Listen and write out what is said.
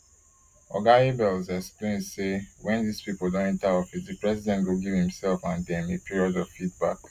oga abels explain say wen dis pipo don enta office di president go give imsef and dem a period of feedback